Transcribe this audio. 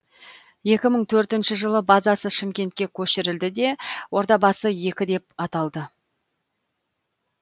екі мың төртінші жылы базасы шымкентке көшірілді де ордабасы екі деп аталды